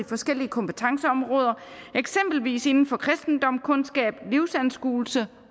forskellige kompetenceområder eksempelvis inden for kristendomskundskab livsanskuelse